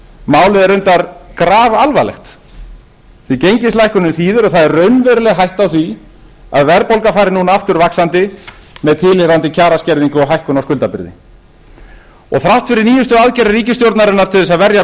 málið er reyndar grafalvarlegt því gengislækkunin þýðir að það er raunveruleg hætta á því að verðbólgan fari núna aftur vaxandi með tilheyrandi kjaraskerðingu og hækkun á skuldabréfum þrátt fyrir nýjustu aðgerðir ríkisstjórnarinnar til þess að verja